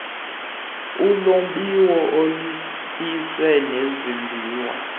ulombiwo izinyithi nezimbiwa